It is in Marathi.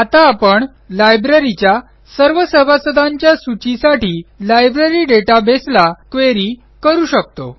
आता आपण लायब्ररीच्या सर्व सभासदांच्या सूचीसाठी लायब्ररी databaseला क्वेरी करू शकतो